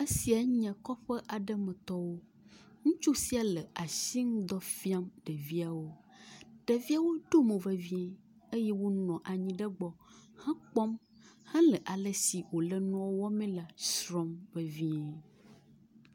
Esiae nye kɔƒe aɖe me tɔwo. Ŋutsu sia le asinudɔ fiam ɖeviawo. Ɖeviawo ɖo mo vevi eye wo nɔ anyi ɖe egbɔ hekpɔ hele ale si wole nua wɔme la srɔ̃m vevie.